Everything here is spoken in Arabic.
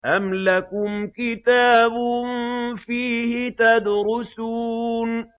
أَمْ لَكُمْ كِتَابٌ فِيهِ تَدْرُسُونَ